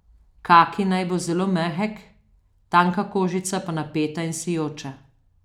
Kaki naj bo zelo mehek, tanka kožica pa napeta in sijoča.